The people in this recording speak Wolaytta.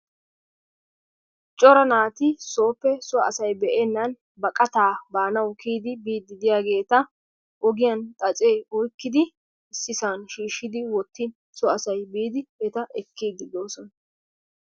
Cora naati sooppe soo asay be'eennan kiyyidi biyaageeta xaacce oykkidi issisan shiishshi wottin so asay biidi ekkidi doosona.